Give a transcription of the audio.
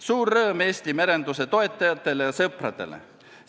Suur rõõm Eesti merenduse toetajatele ja sõpradele!